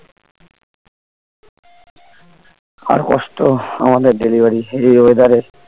আর কষ্ট আমাদের delivery এই weather এ